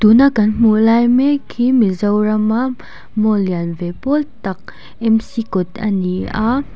tuna kan hmuh lai mek hi mizorama mall lian ve pawl tak kawt a ni a.